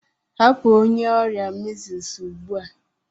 Hapụ onye ọrịa Measles ugbu a!